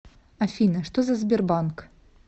афина что за сбербанк